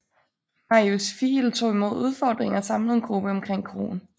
Marius Fiil tog imod opfordringen og samlede en gruppe omkring kroen